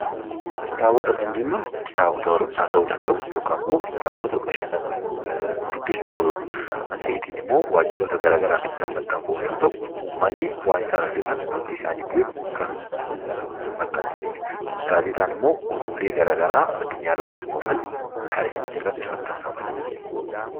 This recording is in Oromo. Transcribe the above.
Kitaabota kan jennuun kitaabota barumsaa ta'uu danda'u yookaan immoo kitaabota bashannanaaf dubbifnu ta'uu danda'u. Matseetiin immoo waajjiroota garaagaraatiin kan maxxanfamu yoo ta'u, uummanni waan isaan hojjatan akka beeku kan maxxansanidha. Gaazexaan immoo oduulee garaagaraa addunyaa irratti uumaman kan irratti maxxanfamanidha.